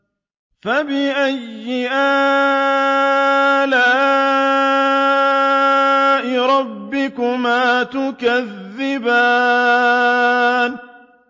فَبِأَيِّ آلَاءِ رَبِّكُمَا تُكَذِّبَانِ